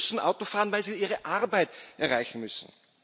Diese Menschen müssen Auto fahren, weil sie ihre Arbeit erreichen müssen.